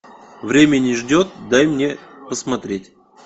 время не ждет дай мне посмотреть